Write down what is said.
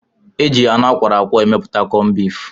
E ji anụ akwọrọ akwọ emepụta kọmbif.